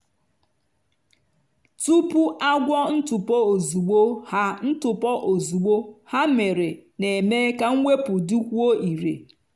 tupu agwọ ntụpọ ozugbo ha ntụpọ ozugbo ha mere na-eme ka mwepụ dịkwuo irè.